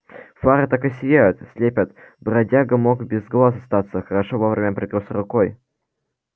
фары так и сияют слепят бродяга мог без глаз остаться хорошо вовремя прикрылся рукой